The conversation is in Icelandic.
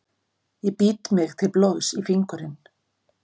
Ég bít mig til blóðs í fingurinn.